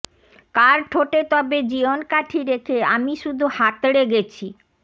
কার ঠোঁটে তবে জীয়নকাঠি রেখে আমি শুধু হাতড়ে গেছি